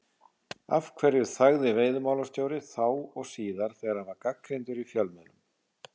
Af hverju þagði veiðimálastjóri, þá og síðar, þegar hann var gagnrýndur í fjölmiðlum?